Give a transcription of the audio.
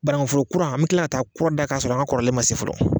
Banakuforo kura an bi kila ka ta kura da k'a sɔrɔ an ka kɔrɔlen ma se fɔlɔ.